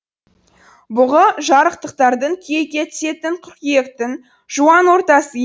бұғы жарықтықтардың күйекке түсетін қыркүйектің жуан ортасы е